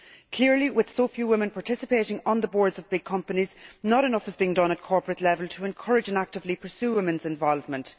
Clearly, with so few women participating on the boards of big companies, not enough is being done at corporate level to encourage and actively pursue women's involvement.